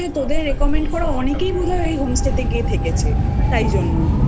recommend করা অনেকেই বোধহয় ওই home stay গিয়ে থেকেছে তাইজন্য